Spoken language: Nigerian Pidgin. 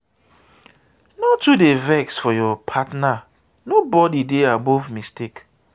no too dey vex for your partner nobodi dey above mistake.